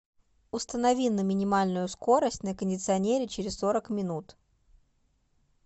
установи на минимальную скорость на кондиционере через сорок минут